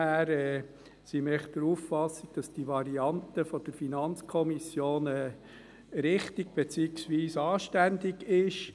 Wir sind der Auffassung, dass die Variante der FiKo richtig, beziehungsweise anständig ist.